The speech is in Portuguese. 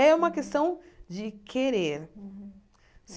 É uma questão de querer.